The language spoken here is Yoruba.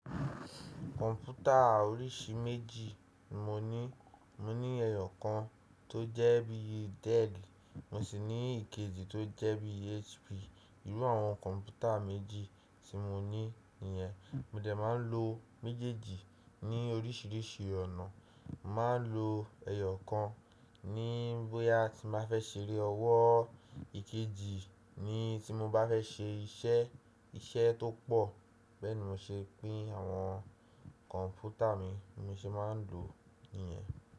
Kọ̀mpútà oríṣi méjì ni mo ní. Mo ní ẹyọ̀ kan tó jẹ́ bí i Dell, mo sì ní ìkejì tó jẹ́ bí i HP. Irú àwọn kọ̀mpútà méjì tí mo ní yẹn, mo dẹ̀ máa ń lo méjèèjì ní oríṣìíríṣìí ọ̀nà. Màá ń lo ẹyọ̀ kan ní bóyá tí màá fẹ́ ṣeré ọwọ́, ìkejì ni tí mo bá fẹ́ ṣe iṣẹ́, iṣẹ́ tó pọ̀. Bẹ́ẹ̀ ni mo ṣe pín àwọn kọ̀mpútà mi, bí mo ṣe máa ń lò ó nìyẹn.